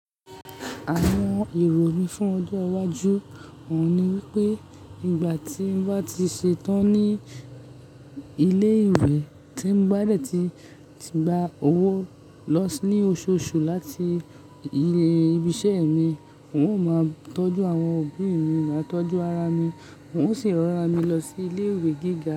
Àwọn ìròyìn fún ọjọ́ iwájú òun ni wípé nígbà tí ń bá ti ṣetán ní ilé ìwé tí ń bá dẹ̀ ti ti gba owó lọ́ s ní oṣooṣù láti ilé ibi iṣẹ́ mi, n ó máa tọ́jú àwọn òbí mi, máa tọ́jú ara mi, n ó sì ránra mi lọ sí ilé ìwé gíga.